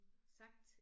Sagt